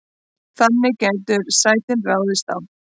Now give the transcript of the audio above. þannig gætu sætin raðast á